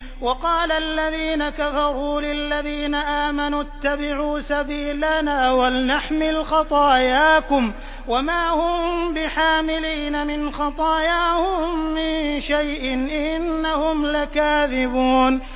وَقَالَ الَّذِينَ كَفَرُوا لِلَّذِينَ آمَنُوا اتَّبِعُوا سَبِيلَنَا وَلْنَحْمِلْ خَطَايَاكُمْ وَمَا هُم بِحَامِلِينَ مِنْ خَطَايَاهُم مِّن شَيْءٍ ۖ إِنَّهُمْ لَكَاذِبُونَ